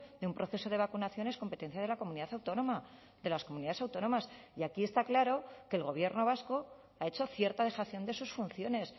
de un proceso de vacunación es competencia de la comunidad autónoma de las comunidades autónomas y aquí está claro que el gobierno vasco ha hecho cierta dejación de sus funciones